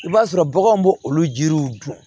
I b'a sɔrɔ baganw bo olu jiriw dun